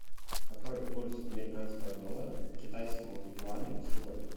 какой курс американского доллара к китайскому юаню сегодня